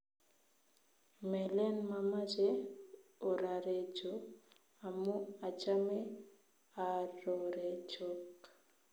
Melen mamache orarecho amu achame arorechok